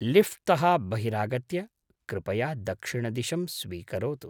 लिफ्ट्तः बहिरागत्य कृपया दक्षिणदिशं स्वीकरोतु।